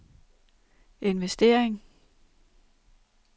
investering